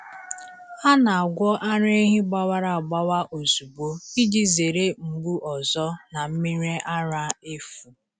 A na-agwọ ara ehi gbawara agbawa ozugbo iji zere mgbu ọzọ na mmiri ara efu.